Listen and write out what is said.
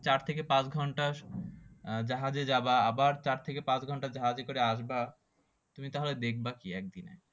চার থেকে পাঁচ ঘন্টা আহ জাহাজে যাবা আবার চার থেকে পাঁচ ঘন্টা জাহাজে করে আসবা তুমি তাহলে দেখবা কি একদিন